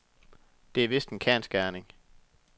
Det er vist en kendsgerning.